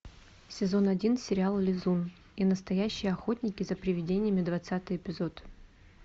сезон один сериал лизун и настоящие охотники за привидениями двадцатый эпизод